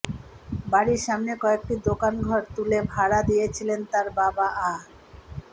বাড়ির সামনে কয়েকটি দোকানঘর তুলে ভাড়া দিয়েছিলেন তার বাবা আ